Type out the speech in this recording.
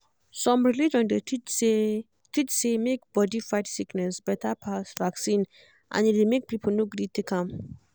some religion dey teach say teach say make body fight sickness better pass vaccine and e dey make people no gree take am